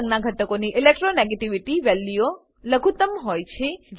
red રંગનાં ઘટકોની electronegativity વેલ્યુઓ લઘુત્તમ હોય છે